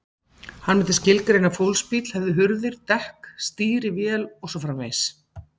Hann myndi skilgreina að fólksbíll hefði hurðir, dekk, stýri, vél og svo framvegis.